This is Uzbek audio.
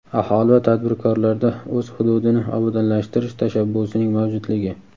aholi va tadbirkorlarda o‘z hududini obodonlashtirish tashabbusining mavjudligi;.